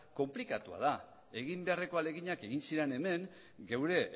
konplikatua da egin beharreko ahaleginak egin ziren hemen geure